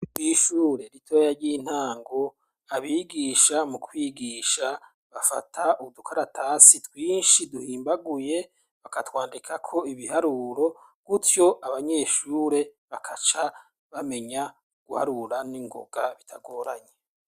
MWishure ritoya ry'intango abigisha mu kwigisha bafata udukaratasi twinshi duhimbaguye bakatwandika ko ibiharuro gutyo abanyeshure bakaca bamenya guharura n'ingoga bitagoranye.